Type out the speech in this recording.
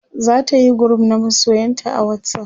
zatayi group na masoyanta a whatsapp